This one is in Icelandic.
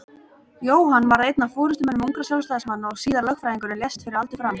Jóhann varð einn af forystumönnum ungra Sjálfstæðismanna og síðar lögfræðingur en lést fyrir aldur fram.